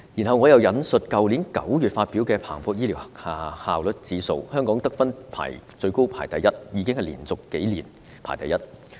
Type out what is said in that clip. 我想引述去年9月發表的彭博醫療效率指數，香港得分最高排名第一，而且是連續數年排名第一。